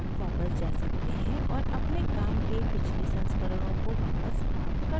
हम वापस जा सकते हैं और अपने काम के पिछले संस्करणों को वापस प्राप्त कर सकते हैं